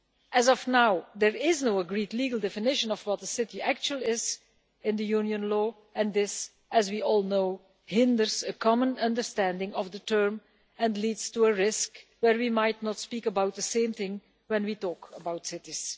As of now, there is no agreed legal definition of what a city actually is in Union law and this, as we all know, hinders a common understanding of the term and leads to the risk that we might not speak about the same thing when we talk about cities.